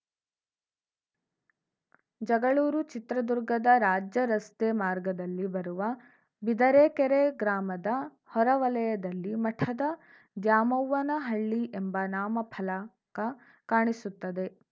ಜಗಳೂರು ಚಿತ್ರದುರ್ಗದ ರಾಜ್ಯ ರಸ್ತೆ ಮಾರ್ಗದಲ್ಲಿ ಬರುವ ಬಿದರೆಕೆರೆ ಗ್ರಾಮದ ಹೊರ ವಲಯದಲ್ಲಿ ಮಠದ ದ್ಯಾಮವ್ವನಹಳ್ಳಿ ಎಂಬ ನಾಮ ಫಲಕ ಕಾಣಿಸುತ್ತದೆ